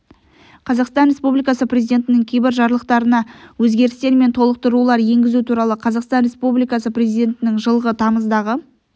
қазақстан республикасы президентінің кейбір жарлықтарына өзгерістер мен толықтырулар енгізу туралы қазақстан республикасы президентінің жылғы тамыздағы